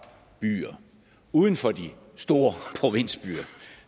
byer uden for de store provinsbyer